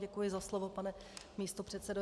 Děkuji za slovo, pane místopředsedo.